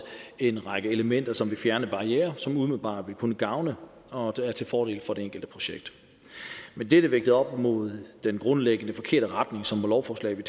en række elementer som vil fjerne barrierer som umiddelbart vil kunne gavne og er til fordel for det enkelte projekt men dette vægtet op mod den grundlæggende forkerte retning som lovforslaget